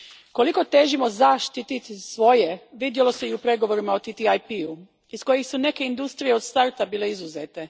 Koliko težimo zaštititi svoje vidjelo se i u pregovorima o TTIP u iz kojih su neke industrije od starta bile izuzete.